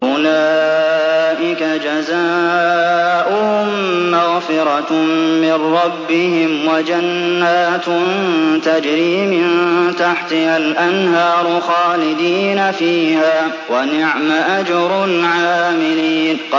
أُولَٰئِكَ جَزَاؤُهُم مَّغْفِرَةٌ مِّن رَّبِّهِمْ وَجَنَّاتٌ تَجْرِي مِن تَحْتِهَا الْأَنْهَارُ خَالِدِينَ فِيهَا ۚ وَنِعْمَ أَجْرُ الْعَامِلِينَ